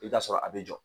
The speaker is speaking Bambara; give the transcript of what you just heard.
I bɛ t'a sɔrɔ a bɛ jɔ